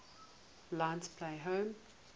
lions play home